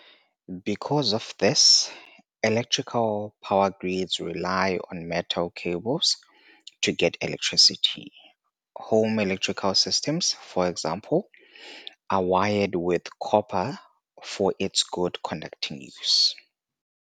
Because of this, electrical power grids rely on metal cables to get electricity. Home electrical systems, for example, are wired with copper for its good conducting use.